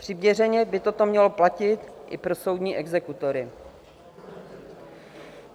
Přiměřeně by toto mělo platit i pro soudní exekutory.